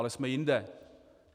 Ale jsme jinde.